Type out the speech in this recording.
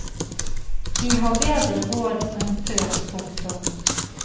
De har bedre råd enn før. punktum